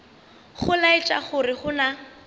go laetša gore go na